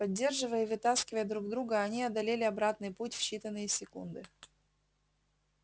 поддерживая и вытаскивая друг друга они одолели обратный путь в считанные секунды